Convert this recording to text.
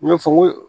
N y'o fɔ n ko